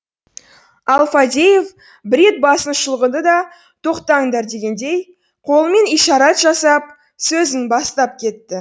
ал фадеев бір рет басын шұлғыды да тоқтаңдар дегендей қолымен ишарат жасап сөзін бастап кетті